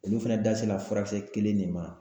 Olu fɛnɛ da sela furakisɛ kelen de ma